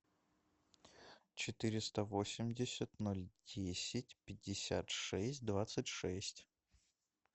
четыреста восемьдесят ноль десять пятьдесят шесть двадцать шесть